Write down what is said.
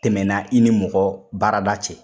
Tɛmɛna i ni mɔgɔ baarada cɛ.